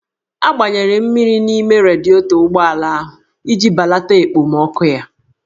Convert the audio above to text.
A gbanyere mmiri n'ime radietọ ụgbọala ahụ iji balata ekpomọkụ ya